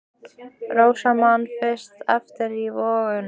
Rósa man fyrst eftir sér í vöggu!